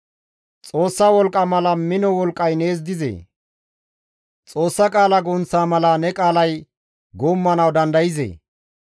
Xoossa wolqqa mala mino wolqqay nees dizee? Xoossa qaala gunththa mala ne qaalay guummanawu dandayzee?